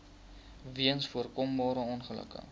weens voorkombare ongelukke